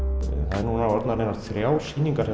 þær eru núna orðnar þrjár sýningar